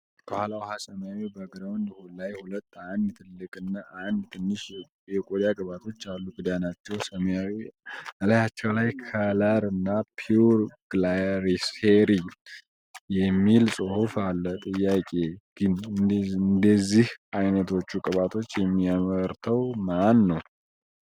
ከኋላ ውኃ ሰማያዊ ባግራውንድ ላይ ሁለት አንድ ትልቅ እና ትንሽ የቆዳ ቅባቶች አሉ ፤ ክዳናቸው ሰማያዊ እላያቸው ላይ ክለር እና ፒውር ግላይሴሪን የሚል ፅሑፍ አለ ፤ ጥያቄዬ ግን እንደ እነዚህ አይነቶቹ ቅባቶችን የሚያመርተው ማን ነው?